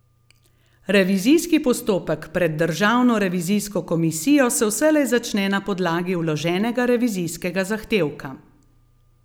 Revizijski postopek pred državno revizijsko komisijo se vselej začne na podlagi vloženega revizijskega zahtevka.